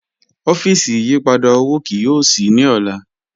Ọfíísì ìyìpadà owó kìí yóò ṣíí ní ọlá